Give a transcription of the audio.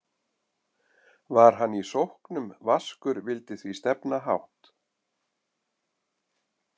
Var hann í sóknum vaskur vildi því stefna hátt.